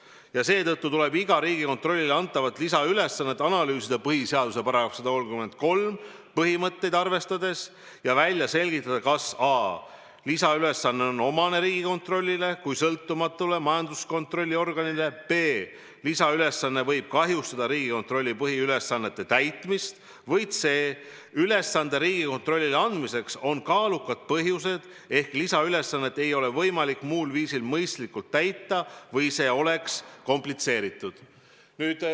Ja seetõttu tuleb iga Riigikontrollile antavat lisaülesannet analüüsida põhiseaduse § 133 põhimõtteid arvestades ja välja selgitada, a) kas lisaülesanne on omane Riigikontrollile kui sõltumatule majanduskontrolli organile, b) kas lisaülesanne võib kahjustada Riigikontrolli põhiülesannete täitmist ja c) kas ülesande Riigikontrollile andmiseks on kaalukad põhjused ehk kas lisaülesannet ei ole võimalik muul viisil mõistlikult täita või see oleks komplitseeritud.